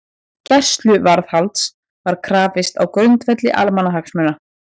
Gæsluvarðhaldsins var krafist á grundvelli almannahagsmuna